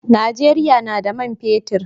Najeriya na da man fetir